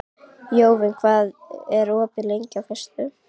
Jóvin, hvað er opið lengi á föstudaginn?